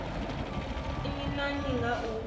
nnyi na nnyi nga u